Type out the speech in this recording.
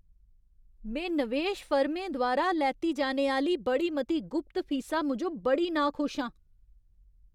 में नवेश फर्में द्वारा लैती जाने आह्‌ली बड़ी मती गुप्त फीसा मूजब बड़ी नाखुश आं।